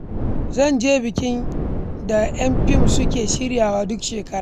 Zan je bikin da ‘yan fim suke shiryawa duk shekara.